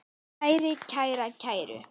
kæri, kæra, kæru